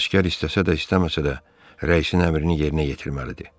Əsgər istəsə də, istəməsə də rəisin əmrini yerinə yetirməlidir.